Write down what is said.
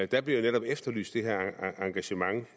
der blev jo netop efterlyst det her engagement